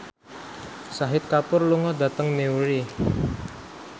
Shahid Kapoor lunga dhateng Newry